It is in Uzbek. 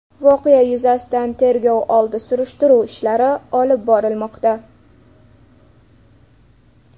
Voqea yuzasidan tergov oldi surishtiruv ishlari olib borilmoqda.